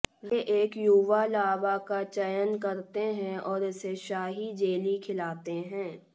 वे एक युवा लार्वा का चयन करते हैं और इसे शाही जेली खिलाते हैं